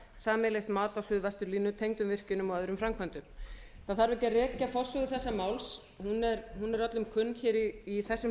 sameiginlegt mat á suðvesturlínu tengdum virkjunum og öðrum framkvæmdum það þarf ekki að rekja forsögu þessa máls hún er öllum kunn hér í þessum